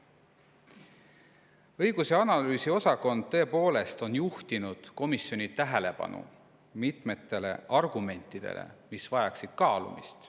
Õigus- ja analüüsiosakond on tõepoolest juhtinud komisjoni tähelepanu mitmetele argumentidele, mis vajaksid veel kaalumist.